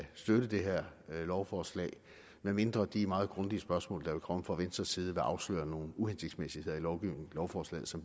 støtte det her lovforslag medmindre de meget grundige spørgsmål der vil komme fra venstres side vil afsløre nogle uhensigtsmæssigheder i lovforslaget som